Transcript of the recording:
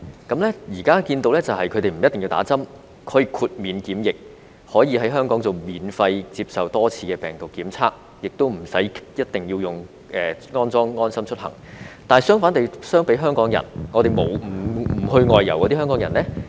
現時他們不一定要打針，可以豁免檢疫，可以在香港免費接受多次病毒檢測，亦無須一定要安裝"安心出行"，但相比之下，不外遊的香港人卻與之相反。